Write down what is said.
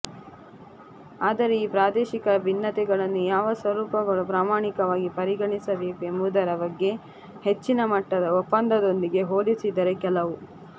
ಆದರೆ ಈ ಪ್ರಾದೇಶಿಕ ಭಿನ್ನತೆಗಳು ಯಾವ ಸ್ವರೂಪಗಳು ಪ್ರಮಾಣಕವಾಗಿ ಪರಿಗಣಿಸಬೇಕು ಎಂಬುದರ ಬಗ್ಗೆ ಹೆಚ್ಚಿನ ಮಟ್ಟದ ಒಪ್ಪಂದದೊಂದಿಗೆ ಹೋಲಿಸಿದರೆ ಕೆಲವು